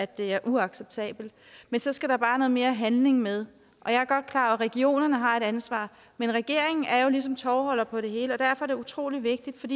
det er uacceptabelt men så skal der bare mere handling med og jeg er godt klar regionerne har et ansvar men regeringen er jo ligesom tovholder på det hele og derfor er det utrolig vigtigt